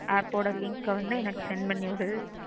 App ஓட link அ வந்து எனக்கு send பண்ணிவிடு.